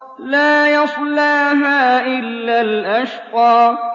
لَا يَصْلَاهَا إِلَّا الْأَشْقَى